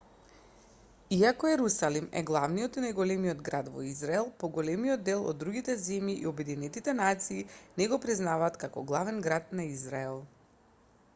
иако ерусалим е главниот и најголемиот град во израел поголемиот дел од другите земји и обединетите нации не го признаваат како главен град на израел